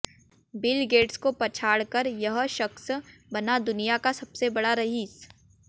bill Gates को पछाड़ कर यह यह शख्स बना दुनिया का सबसे बड़ा रईस